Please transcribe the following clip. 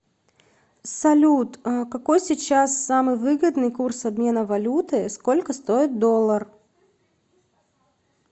салют какой сейчас самый выгодный курс обмена валюты сколько стоит доллар